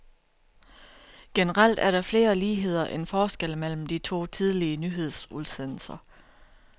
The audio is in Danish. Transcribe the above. Generelt er der flere ligheder end forskelle mellem de to tidlige nyhedsudsendelser.